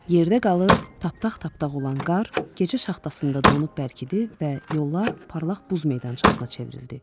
Yerdə qalıb taptaq-taptaq olan qar, gecə şaxtasında donub bərkidi və yollar parlaq buz meydançasına çevrildi.